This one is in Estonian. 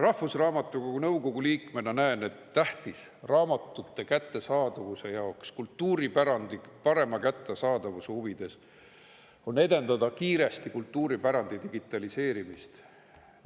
Rahvusraamatukogu nõukogu liikmena näen, et raamatute kättesaadavuse ja kultuuripärandi parema kättesaadavuse huvides on tähtis edendada kiiresti kultuuripärandi digitaliseerimist.